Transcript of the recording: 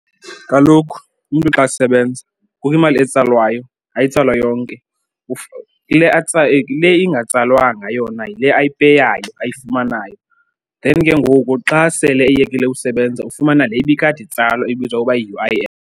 Kaloku umntu xa esebenza kukho imali etsalwayo, ayitsalwa yonke. Kule ingatsalwanga yona yile ayipeyayo ayifumanayo, then ke ngoku xa sele eyekile usebenza ufumana le ibikade itsalwa ibizwa uba yi-U_I_F.